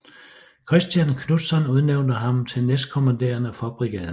Kristian Knudtzon udnævnte ham til næstkommanderende for Brigaden